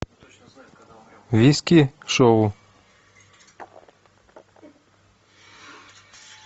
виски шоу